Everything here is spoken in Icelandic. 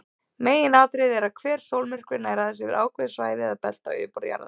Meginatriðið er að hver sólmyrkvi nær aðeins yfir ákveðið svæði eða belti á yfirborði jarðar.